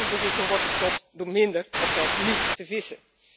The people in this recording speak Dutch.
Overbevissing wordt gestopt door minder of zelfs niet te vissen.